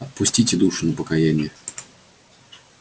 отпустите душу на покаяние